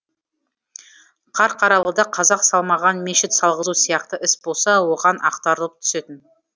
қарқаралыда қазақ салмаған мешіт салғызу сияқты іс болса оған ақтарылып түсетін